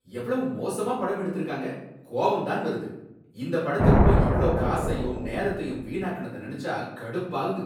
எவ்வளவு மோசமா படம் எடுத்திருக்காங்க, கோவம் தான் வருது, இந்த படத்துக்கு போய் இவ்ளோ காசையும் நேரத்தையும் வீணாக்குனத நினைச்சா கடுப்பாகுது.